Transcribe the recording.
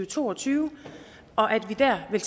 to og tyve og at vi der vil